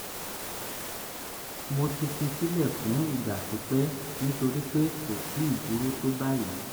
mo ti fi sílẹ̀ fún ìgbà pípẹ́ nítorí pé kò tíì burú tó báyìí